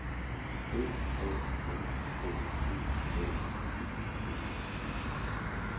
B A N K E L Y D E